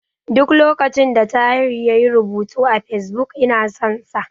Duk lokacin da Tahir yayi rubutu a Fesbuk, ina son sa.